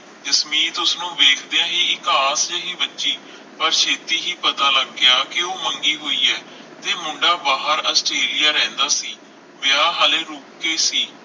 ਜਸਮੀਤ ਉਸਨੂੰ ਵੇਖਦਿਆਂ ਹੀ ਇਕਾਸ ਜਿਹੀ ਵੱਜੀ ਪਰ ਛੇਤੀ ਹੀ ਪਤਾ ਲੱਗ ਗਿਆ ਕਿ ਉਹ ਮੰਗੀ ਹੋਈ ਹੈ ਤੇ ਮੁੰਡਾ ਬਾਹਰ ਆਸਟ੍ਰੇਲੀਆ ਰਹਿੰਦਾ ਸੀ ਵਿਆਹ ਹਲੇ ਰੁਕ ਕੇ ਸੀ